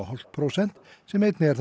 prósent sem einnig er það